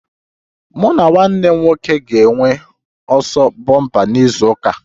Mụ na nwanne m nwoke ga-enwe ọsọ bompa na izu ụka a